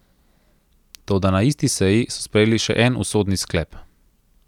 Toda na isti seji so sprejeli še en usodni sklep.